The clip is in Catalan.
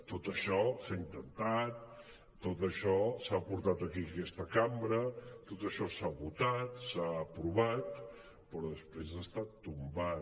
tot això s’ha intentat tot això s’ha portat aquí en aquesta cambra tot això s’ha votat s’ha aprovat però després ha estat tombat